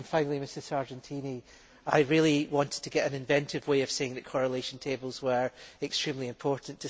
Finally, Ms Sargentini, I really wanted to find an inventive way of saying that correlation tables were extremely important.